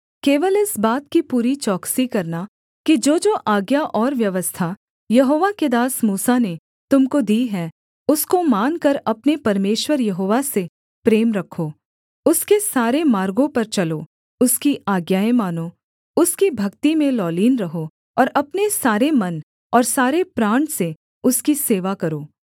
केवल इस बात की पूरी चौकसी करना कि जोजो आज्ञा और व्यवस्था यहोवा के दास मूसा ने तुम को दी है उसको मानकर अपने परमेश्वर यहोवा से प्रेम रखो उसके सारे मार्गों पर चलो उसकी आज्ञाएँ मानो उसकी भक्ति में लौलीन रहो और अपने सारे मन और सारे प्राण से उसकी सेवा करो